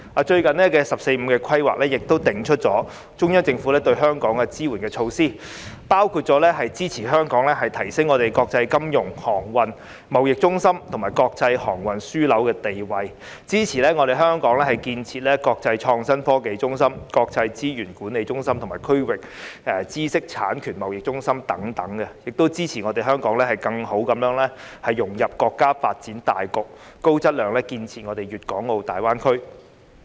最近的"十四五"規劃，亦定出中央政府對香港支援的措施，包括支持香港提升國際金融、航運、貿易中心及國際航空樞紐的地位，支持香港建設國際創新科技中心、國際資產管理中心及區域知識產權貿易中心等，亦支持香港更好地融入國家發展大局，高質量建設粵港澳大灣區。